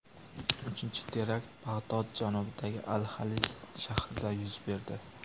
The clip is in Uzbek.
Uchinchi terakt Bag‘dod janubidagi Al-Xalis shahrida yuz berdi.